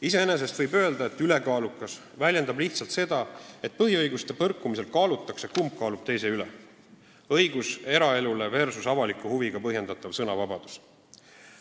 Iseenesest võib öelda, et sõna "ülekaalukas" väljendab lihtsalt seda, et põhiõiguste põrkumisel kaalutakse, kumb kaalub teise üle: kas õigus eraelule või avaliku huviga põhjendatav sõnavabadus.